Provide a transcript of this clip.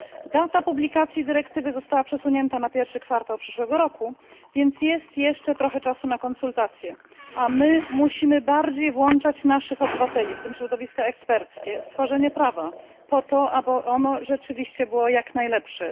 Data publikacji dyrektywy została przesunięta na pierwszy kwartał przyszłego roku, więc jest jeszcze trochę czasu na konsultację, a my musimy bardziej włączać naszych obywateli, w tym środowiska eksperckie, w tworzenie prawa, po to, aby było ono rzeczywiście jak najlepsze.